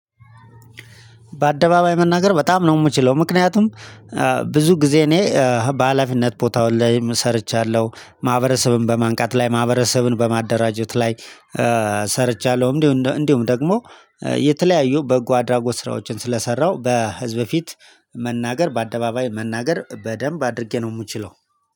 በአደባባይ መናገር በጣም ነው የምችለው ምክንያቱም ብዙ ጊዜ እኔ በሃላፊነት ቦታዎች ላይም ሰርቻለሁ ማህበረሰብም በማንቃት ላይ ማህበረሰብን በማደራጀት ላይ ሰርቻለሁ። እንዲሁም እንዲሁም እንዲሁም ደግሞ የተለያዩ በጎ አድራጎት ስራዎችን ስለሰራው በህዝብ ፊት መናገር በአደባባይ መናገር በደንብ አድርጌ ነው የምችለው።